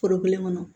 Foro kelen kɔnɔ